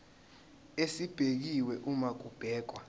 esibekiwe uma kubhekwa